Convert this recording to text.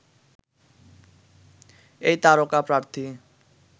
এই তারকা প্রার্থী